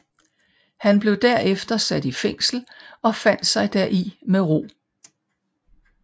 Han blev derefter sat i fængsel og fandt sig deri med ro